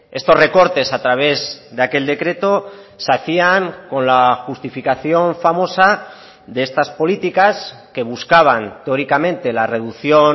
estos recortes a través de aquel decreto se hacían con la justificación famosa de estas políticas que buscaban teóricamente la reducción